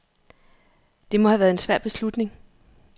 Det må have været en svær beslutning.